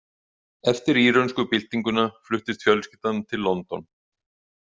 Eftir írönsku byltinguna fluttist fjölskyldan til London.